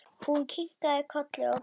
Hún kinkaði kolli og brosti.